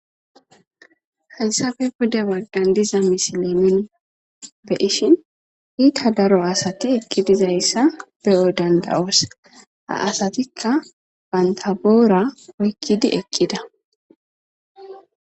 Hayssappe pude baggan de'iza misilen nu beyishin iitta daro asati eqqidi dizayssa be'o dandayos ha asatikka bantta boora oykidi eeqida